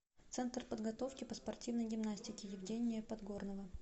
центр подготовки по спортивной гимнастике евгения подгорного